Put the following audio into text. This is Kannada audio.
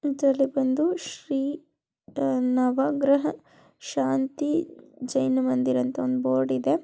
ಇದರಲ್ಲಿ ಬಂದು ಶ್ರೀ ನ-ನವಗ್ರಹ ಶಾಂತಿ ಜೈನ ಮಂದಿರ ಅಂತ ಒಂದು ಬೋರ್ಡ್ ಇದೆ.